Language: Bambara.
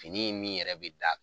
Fini in min yɛrɛ bɛ d'a .